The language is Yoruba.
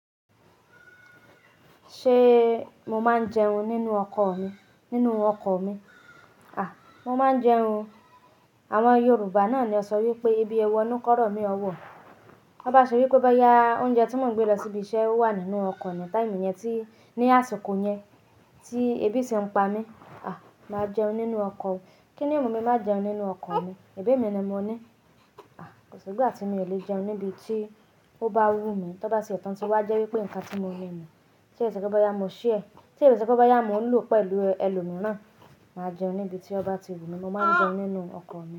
Ṣe mo máa ń jẹun nínú ọkọ mi? Nínú ọkọ mi? A! Mo máa ń jẹun. Àwọn Yorùbá náà ni ó sọ wípé ebi ẹwọ nu kọ́rọ̀ mí ọ́ wọ̀. Tó bá ṣe wípé bóyá oúnjẹ tí mò ń gbé lọ síbi iṣẹ́ owà nínú ọkọ mi time yẹn tí ní àsìkò yẹn tí ebi sì ń pa mí. A! Máa jẹun nínú ọkọ mi. Kí ni ó mú mi máa jẹun nínú ọkọ mi? Ẹ̀bẹ̀ mi ni mo ní. A! Kò sì ìgbà tí mi ò lè jẹun níbi tí ó bá wú mi. Tó bá sì ẹ tán tí wá jẹ́ wípé ǹkan tí mo rí mi. Tí è ṣe pé bóyá mo share, tí è ṣé pé bóyá mo lò pẹ̀lú ẹlòmíràn. Màá jẹun níbi tí ó bá ti wú mi. Mo máa ń jẹun nínú ọkọ mi.